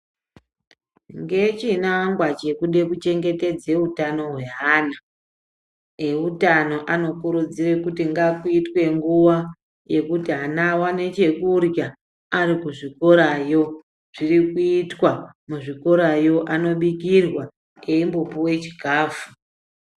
Ngechinangwa chekude kuchengetedze utano hweana, eutano anokurudzire kuti ngakuitwe nguwa yekuti ana awane chekurya ari kuzvikorayo. Zviri kuitwa muzvikorayo, anobikirwa eyimbopuwe chikafu.